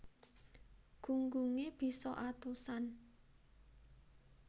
Gunggunge bisa atusan